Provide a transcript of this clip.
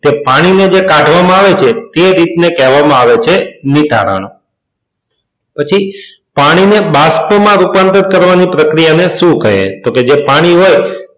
તે જે પાણીને કાઢવામાં આવે છે તે પદ્ધતિને કહે છે નિતારણ. પછી પાણીને બાસ્પમાં રૂપાંતર કરવાની પ્રક્રિયાને શું કહે તો કે જે પાણી હો.